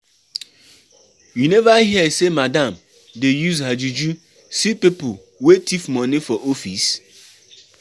You neva hear sey madam dey use her juju see pipu wey tif moni for office?